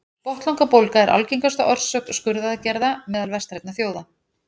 botnlangabólga er algengasta orsök skurðaðgerða meðal vestrænna þjóða